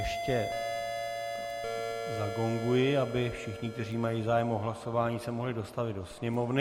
Ještě zagonguji, aby všichni, kteří mají zájem o hlasování, se mohli dostavit do sněmovny.